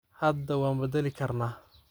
Hada wanbadalikarna.